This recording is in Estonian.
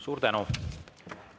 Suur tänu!